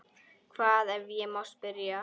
Hvar, ef ég má spyrja?